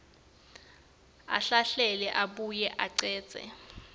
ahlahlele abuye achaze